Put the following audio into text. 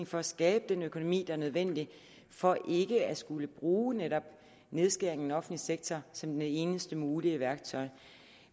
for at skabe den økonomi der er nødvendig for ikke at skulle bruge netop nedskæring offentlige sektor som det eneste mulige værktøj